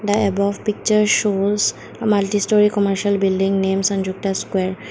the above picture shows a multi story commercial building names and sonjukta square.